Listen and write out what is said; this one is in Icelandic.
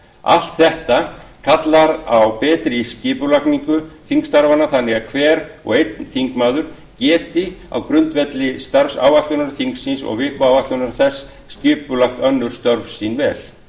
allt þetta kallar á betri skipulagningu þingstarfanna þannig að hver og einn þingmaður geti á grundvelli starfsáætlunar þingsins og vikuáætlana þess skipulagt önnur störf sín vel mikilvægur